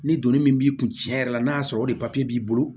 Ni donni min b'i kun tiɲɛ yɛrɛ la n'a y'a sɔrɔ o de papiye b'i bolo